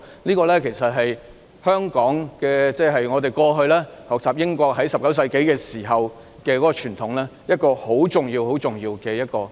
事實上，這是香港過去在19世紀時從英國學習的傳統，這是一個很重要很重要的原則。